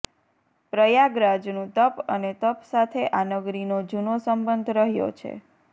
પ્રયાગરાજનું તપ અને તપ સાથે આ નગરીનો જૂનો સંબંધ રહ્યો છે